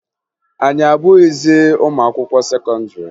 Anyị abụghịzị ụmụ akwụkwọ sekọndịrị